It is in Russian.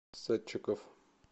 садчиков